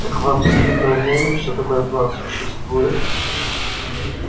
так вы абсолютно уверены что такой план существует